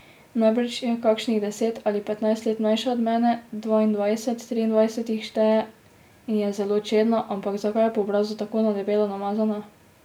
Najbrž je kakšnih deset ali petnajst let mlajša od mene, dvaindvajset, triindvajset jih šteje in je zelo čedna, ampak zakaj je po obrazu tako na debelo namazana?